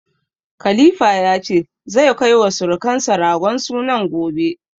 Khalifa ya ce, zai kai wa sirukansa ragon sunan gobe.